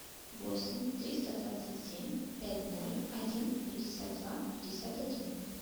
восемь триста двадцать семь пять ноль один пятьдесят два пятьдесят один